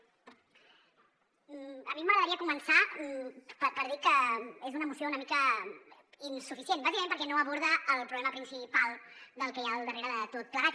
a mi m’agradaria començar per dir que és una moció una mica insuficient bàsicament perquè no aborda el problema principal del que hi ha al darrere de tot plegat